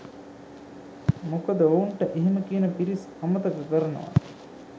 මොකද ඔවුන්ට එහෙම කියන පිරිස් අමතක කරනවා